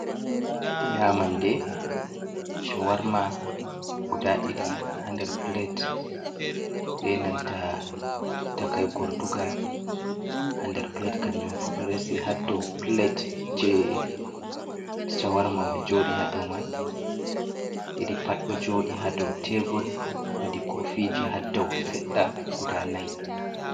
Nyamande chawarma guda ɗiɗi ha nder plate, be nanta takai gortugal ha nder plate, kanjum fu ɗo resi ha dou plate je chawarma mai joɗi ha dou man, ɗiɗi pat ɗo joɗi ha dou tebur, wodi kofiji ha dou seɗɗa guda nai.